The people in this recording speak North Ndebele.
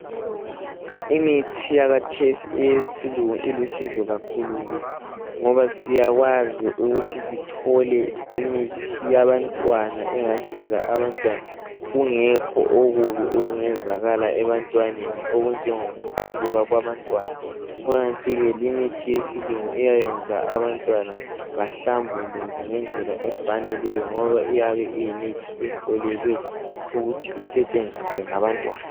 Imithi yakhathesi eyesilungu ilusizo kakhulu kithi ngoba siyakwazi ukuthi sithole imithi eyabantwana engasiza abantwana kungekho okubi okungenzakala ebantwaneni okunjengokuqubuka okwabantwana kukanti ke limithi yesintu iyayenza abantwana bahlambuluke ngendlela efaneleyo ngoba iyabe iyimithi ehloliweyo ukuba isetshenziswe ngabantwana.